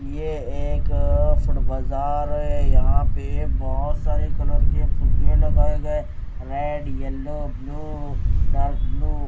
ये एक अह फुड बाजार है यहां पे बहोत सारे कलर के फुग्गे लगाए गए red yellow blue dark blue --